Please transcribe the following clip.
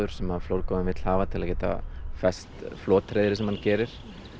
sem flórgoðinn vill hafa til að geta fest flothreiðrið sem hann gerir